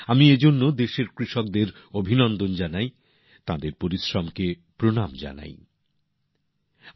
আমি এজন্য দেশের কৃষকদের অভিনন্দন জানাচ্ছি তাঁদের পরিশ্রমকে প্রনাম জানাচ্ছি